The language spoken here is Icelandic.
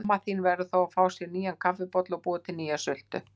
Amma þín verður þó að fá sér nýja kaffibolla og búa til nýja sultu.